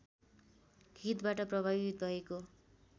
हितबाट प्रभावित भएको